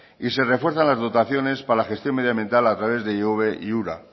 y se refuerzan las dotaciones para la gestión medioambiental a través de ihobe y ura